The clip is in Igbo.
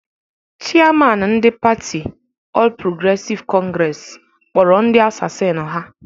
Chịaman ndị patị Ọl Progresịv Kọngresi kpọrọ ndị asasin ha